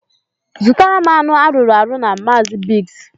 Zụtara m anụ arụrụ arụ na Maazi Biggs